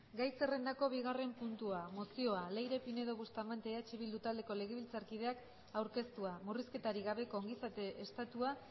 gai zerrendako bigarren puntua mozioa leire pinedo bustamante eh bildu taldeko legebiltzarkideak aurkeztua murrizketarik gabeko ongizate estatua